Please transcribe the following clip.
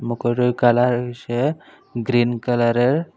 মুকুরের colour হইসে green কালারের।